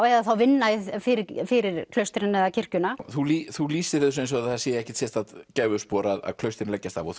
eða þá vinna fyrir fyrir klaustrin eða kirkjuna þú þú lýsir þessu eins og það sé ekkert sérstakt gæfuspor að klaustrin leggjast af og